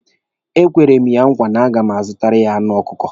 E kwere m ya nkwa na a na-azụtara ya anụ ọkụkọ.